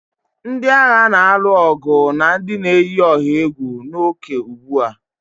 Ndị agha na-alụ ọgụ na ndị na-eyi ọha egwu n'ókè ugbu a